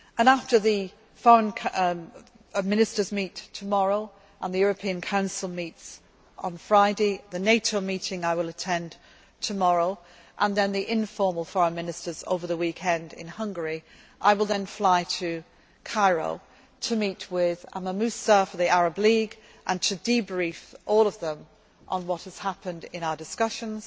the world. After the Foreign Ministers meet tomorrow, and the European Council meets on Friday, the NATO meeting I will attend tomorrow and then the informal Foreign Ministers' meeting over the weekend in Hungary, I will then fly to Cairo to meet with Amr Moussa, the Arab League and to debrief all of them on what has happened in